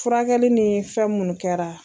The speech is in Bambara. Furakɛli ni fɛn mun kɛra.